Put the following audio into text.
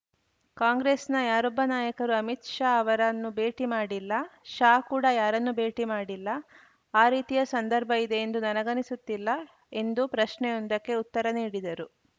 ಕಾಂಗ್ರೆಸ್‌ನ ಯಾರೊಬ್ಬ ನಾಯಕರೂ ಅಮಿತ್‌ ಶಾ ಅವರನ್ನು ಭೇಟಿ ಮಾಡಿಲ್ಲ ಶಾ ಕೂಡ ಯಾರನ್ನೂ ಭೇಟಿ ಮಾಡಿಲ್ಲ ಆ ರೀತಿಯ ಸಂದರ್ಭ ಇದೆ ಎಂದು ನನಗನಿಸುತ್ತಿಲ್ಲ ಎಂದು ಪ್ರಶ್ನೆಯೊಂದಕ್ಕೆ ಉತ್ತರ ನೀಡಿದರು